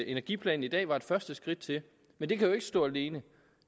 energiplanen i dag var et første skridt til men det kan jo ikke stå alene